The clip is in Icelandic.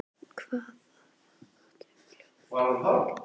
Hafðu það gott um jólin, Nikki